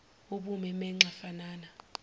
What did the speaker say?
ubume benxa fanana